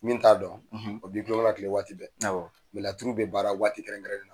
Min t'a dɔn o b'i kulonkɛ a la kile waati bɛɛ. laturu bɛ baara waati kɛrɛnkɛrɛnnen na.